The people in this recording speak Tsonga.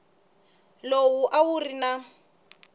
lowu a wu ri na